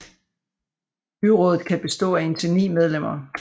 Byrådet kan bestå af indtil ni medlemmer